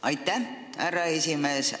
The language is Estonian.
Aitäh, härra esimees!